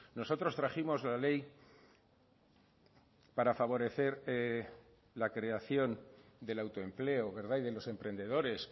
nosotros trajimos la ley para favorecer la creación del autoempleo y de los emprendedores